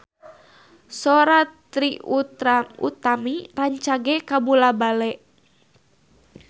Sora Trie Utami rancage kabula-bale